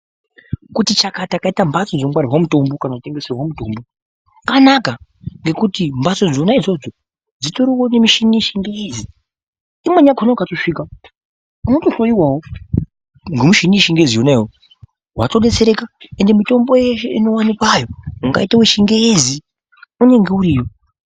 Kuti chakata kaita mhatso dzinongwarirwa mitombo kana dzinotengeserwe mitombo kanaka ngekuti mbatso dzona idzodzo dzitoriwo nemichini yechingezi imweni yakhona ukatosvika unotohloyiwawo ngemichini yechingezi yonayow, watodetsereka mutombo yeshe inowanikwayo ungaita wechingezi unenge iriyo.